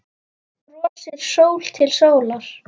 Brosir sól til sólar.